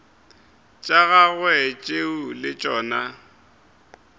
tša gagwe tšeo le tšona